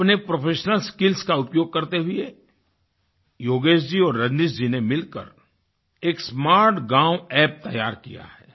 अपने professional skills का उपयोग करते हुए योगेश जी और रजनीश जी ने मिलकर एक स्मार्टगांव App तैयार किया है